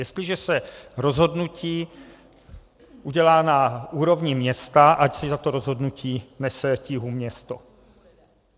Jestliže se rozhodnutí udělá na úrovni města, ať si za to rozhodnutí nese tíhu město.